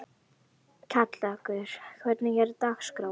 Kjallakur, hvernig er dagskráin?